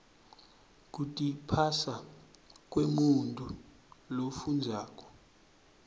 kutiphasa kwemuntfu lofundzako